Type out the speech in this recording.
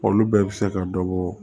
Olu bɛɛ bɛ se ka dɔ bɔ